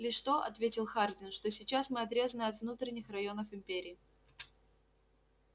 лишь то ответил хардин что сейчас мы отрезаны от внутренних районов империи